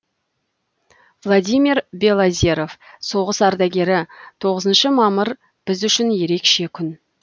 владимир белозеров соғыс ардагері тоғызыншы мамыр біз үшін ерекше күн